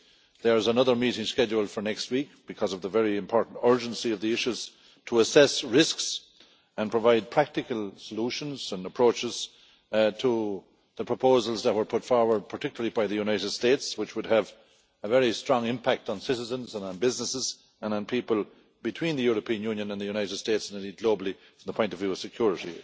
There is another meeting scheduled for next week, because of the great importance and urgency of the issues, to assess risks and provide practical solutions and approaches to the proposals that were put forward, particularly by the United States, which would have a very strong impact on citizens and on businesses and on people between the European Union and the United States, and indeed globally from a point of view of security.